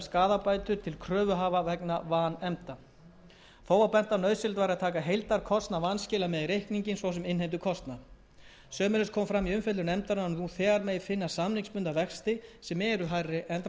skaðabætur til kröfuhafa vegna vanefnda þó var bent á að nauðsynlegt væri að taka heildarkostnað vanskila með í reikninginn svo sem innheimtukostnað sömuleiðis kom fram í umfjöllun nefndarinnar að nú þegar megi finna samningsbundna vexti sem eru hærri en dráttarvextir því